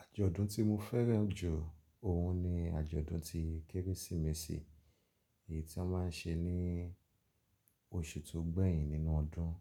Àjọ̀dún tí mo fẹ́ràn jù òhun ni àjọ̀dún ti Kérésìmesì, èyí tí wọ́n má ń ṣe ní oṣù tó gbẹ̀yìn nínú ọdún.